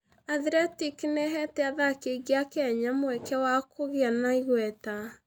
Athletic nĩ ĩheete athaki aingĩ a Kenya mweke wa kũgĩa na igweta.